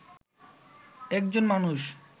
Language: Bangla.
একজন মানুষ